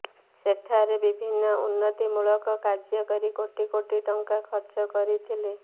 ସେଠାରେ ବିଭିନ୍ନ ଉନ୍ନତି ମୂଳକ କାର୍ଯ୍ୟ କରି କୋଟି କୋଟି ଟଙ୍କା ଖର୍ଚ୍ଚ କରିଥିଲେ